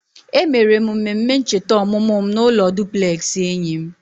E mere m mmemme ncheta ọmụmụ m n'ụlọ dupleksị enyi m